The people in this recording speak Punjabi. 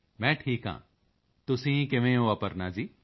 ਮੈਂ ਠੀਕ ਹਾਂ ਤੁਸੀਂ ਕਿਵੇਂ ਹੋ ਅਪਰਨਾ ਜੀ